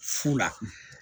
Fu la